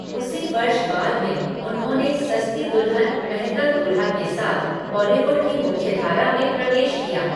उसी वर्ष बाद में, उन्होंने सस्ती दुल्हन महँगा दुल्हा के साथ बॉलीवुड की मुख्यधारा में प्रवेश किया।